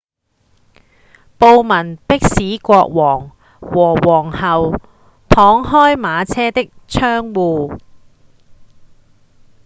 暴民迫使國王和皇后敞開馬車的窗戶